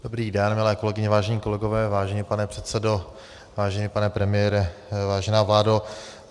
Dobrý den, milé kolegyně, vážení kolegové, vážený pane předsedo, vážený pane premiére, vážená vládo.